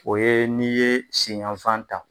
O ye n'iye sen yanfan ta